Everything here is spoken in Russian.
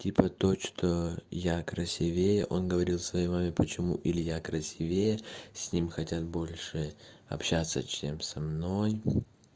типа то что я красивее он говорил своей маме почему илья красивее с ним хотят больше общаться чем со мной